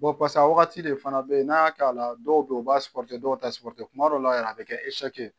pase a wagati de fana bɛ yen n'a y'a k'a la dɔw bɛ yen u b'a dɔw t'a kuma dɔw la yɛrɛ a bɛ kɛ